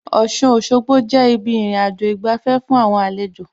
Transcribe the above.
Ọ̀ṣun Òṣogbo jẹ́ ibi ìrìnàjò ìgbafẹ́ fún àwọn àlejò